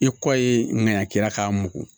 I kɔ ye ŋaniyaki la k'a mugu